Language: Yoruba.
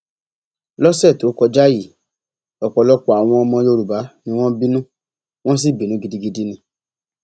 lọsẹ tó kọjá yìí ọpọlọpọ àwọn ọmọ yorùbá ni wọn bínú wọn sì bínú gidigidi ni